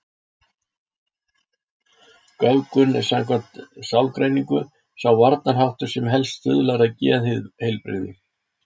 Göfgun er samkvæmt sálgreiningu sá varnarháttur sem helst stuðlar að geðheilbrigði.